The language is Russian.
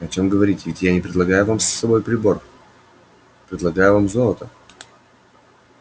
о чем говорить ведь я не предлагаю вам свой прибор предлагаю вам золото